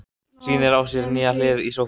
Sýnir á sér nýja hlið í sófanum.